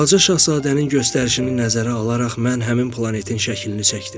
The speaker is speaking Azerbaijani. Balaca şahzadənin göstərişini nəzərə alaraq mən həmin planetin şəklini çəkdim.